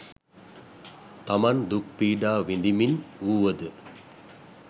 තමන් දුක් පීඩා විඳිමින් වූවද